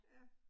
Ja